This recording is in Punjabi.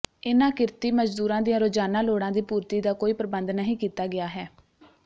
ਇਨ੍ਹਾਂ ਕਿਰਤੀ ਮਜਦੂਰਾਂ ਦੀਆਂ ਰੋਜਾਨਾ ਲੋੜਾਂ ਦੀ ਪੂਰਤੀ ਦਾ ਕੋਈ ਪ੍ਰਬੰਧ ਨਹੀਂ ਕੀਤਾ ਗਿਆ ਹੈ